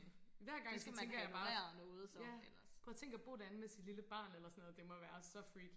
Hver gang så tænker jeg bare ja prøv og tænk og bo derinde med sit lille barn eller sådan noget det må være så freaky